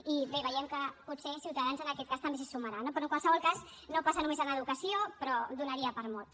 i bé veiem que potser ciutadans en aquest cas també s’hi sumarà no però en qualsevol cas no passa només en educació però donaria per a molt